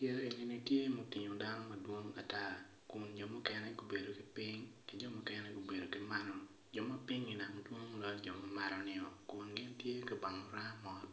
yeya eni ni tye ma otingo dano madwong ata kun jo mukene gubedo ki piny mukene gubnedo ki malo jo ma pinyi dok dwong loyo jo ma malonio kung gin tye ka bango raa mot